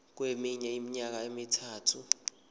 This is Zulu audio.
kweminye iminyaka emithathu